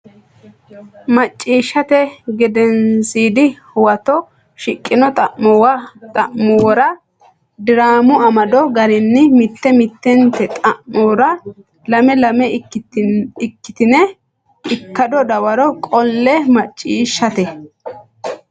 Macciishshate Gedensiidi Huwato shiqqino xa muwa diraamu amado garinni mitte mittente xa mora lame lame ikkitine ikkado dawaro qolle Macciishshate.